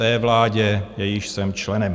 Té vládě, jejímž jsem členem.